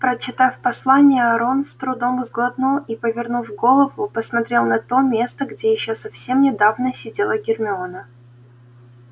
прочитав послание рон с трудом сглотнул и повернув голову посмотрел на то место где ещё совсем недавно сидела гермиона